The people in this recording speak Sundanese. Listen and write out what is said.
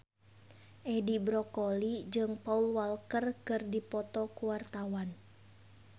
Edi Brokoli jeung Paul Walker keur dipoto ku wartawan